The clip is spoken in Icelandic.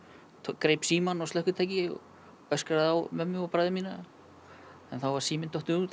greip símann og slökkvitæki og öskraði á mömmu og bræður mína en þá var síminn dottinn út